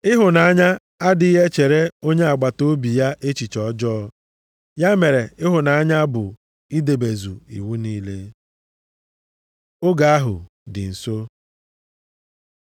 Ịhụnanya adịghị echere onye agbataobi ya echiche ọjọọ, ya mere ịhụnanya bụ idebezu iwu niile. Oge ahụ dị nso